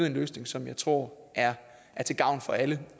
en løsning som jeg tror er til gavn for alle